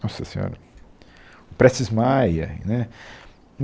Nossa senhora, o Prestes Maia né.